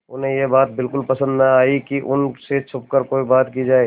उन्हें यह बात बिल्कुल पसन्द न आई कि उन से छुपकर कोई बात की जाए